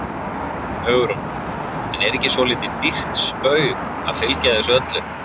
Hugrún: En er ekki svolítið dýrt spaug að fylgja þessu öllu?